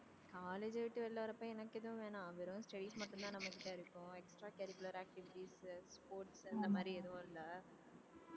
college அ விட்டு வெளில வரப்ப எனக்கு எதுவும் வேணாம் வெறும் மட்டும்தான் நம்ம கிட்ட இருக்கும் extra curricular activities sports அந்த மாதிரி எதுவும் இல்லை